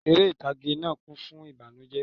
Eré ìtàgé náà kún fún ìbànújẹ́